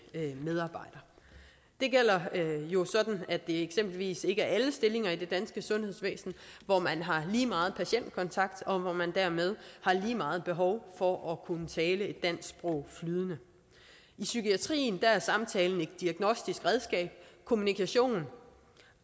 medarbejder det gælder jo at det eksempelvis ikke er i alle stillinger i det danske sundhedsvæsen at man har lige meget patientkontakt og dermed har lige meget behov for at kunne tale dansk flydende i psykiatrien er samtalen et diagnostisk redskab og kommunikation